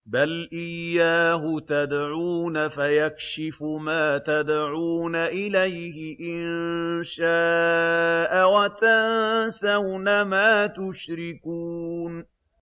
بَلْ إِيَّاهُ تَدْعُونَ فَيَكْشِفُ مَا تَدْعُونَ إِلَيْهِ إِن شَاءَ وَتَنسَوْنَ مَا تُشْرِكُونَ